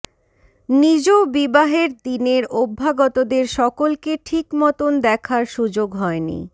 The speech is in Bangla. নিজ বিবাহের দিনের অভ্যাগতদের সকলকে ঠিক মতন দেখার সুযোগ হয়নি